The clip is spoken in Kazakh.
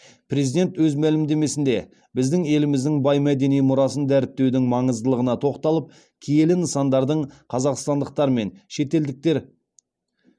президент өз мәлімдемесінде біздің еліміздің бай мәдени мұрасын дәріптеудің маңыздылығына тоқталып киелі нысандардың қазақстандықтар мен шетелдіктер